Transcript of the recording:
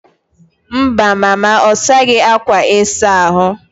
Mba, mama ọ saghị akwa ịsa ahụ.